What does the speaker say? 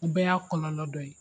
O bɛɛ y'a kɔlɔlɔ dɔ ye.